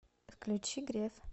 включи грев